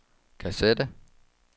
kassette